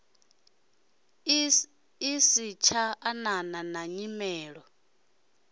i satsha anana na nyimele